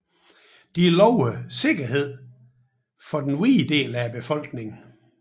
Disse lovede sikkerhed for den hvide del af befolkningen